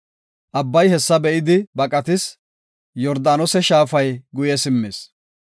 Abbay hessa be7idi baqatis; Yordaanose shaafay guye simmis.